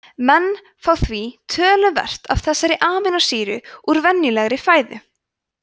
menn fá því töluvert af þessari amínósýru úr venjulegri fæðu